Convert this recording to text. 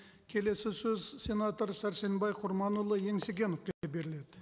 келесі сөз сенатор сәрсенбай құрманұлы беріледі